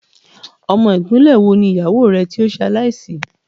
Ọmọ ìpínlẹ́ wo ni ìyàwó rẹ tí ó ṣe aláì sì?